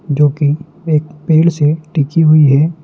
जो की एक पेड़ से टिकी हुई है।